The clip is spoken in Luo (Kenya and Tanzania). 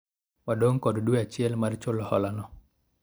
wadong' kod dwe achiel mar chulo hola no